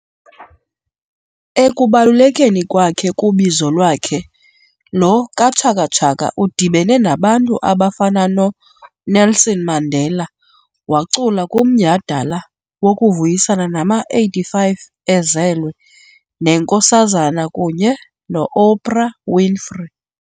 Ekubalulekeni kwakhe kubizo lwakhe lo kaChakaChaka udibene nabantu abafana noNelson Mandela, wacula kumnyhadala wokuvuyisana nama-85 ezelwe, neNkosazana kunye noOprah Winfrey.